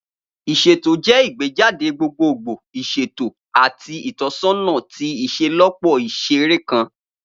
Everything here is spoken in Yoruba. Iṣeto jẹ igbejade gbogbogbo, iṣeto, ati itọsọna ti iṣelọpọ iṣere kan.